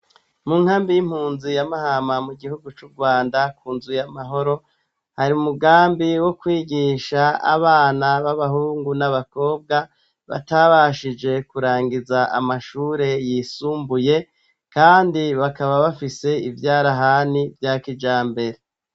Mu nkambi y'impunzi ya mahama mu gihugu c'urwanda kunzuye amahoro, hari umugambi wo kwigisha abana b'abahungu n'abakobwa batabashoboye kurangiza amashure yisumbuye kandi bakaba bafise ibyarahani bya kijambere.